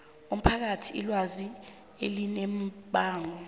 umphakathi ilwazi elinembako